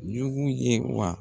Jugu ye wa?